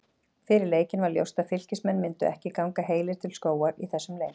Fyrir leikinn var ljóst að Fylkismenn myndu ekki ganga heilir til skógar í þessum leik.